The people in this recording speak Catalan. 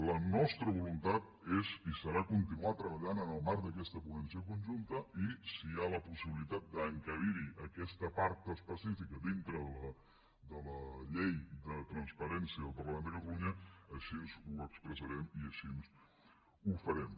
la nostra voluntat és i serà continuar treballant en el marc d’aquesta ponència conjunta i si hi ha la possibilitat d’encabir hi aquesta part específica dintre de la llei de transparència del parlament de catalunya així ho expressarem i així ho farem